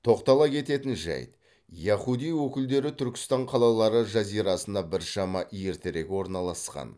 тоқтала кететін жайт яхудей өкілдері түркістан қалалары жазирасына біршама ертерек орналасқан